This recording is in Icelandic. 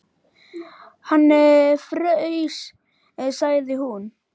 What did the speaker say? Hann fraus, sagði hún.